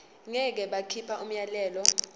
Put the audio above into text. ngeke bakhipha umyalelo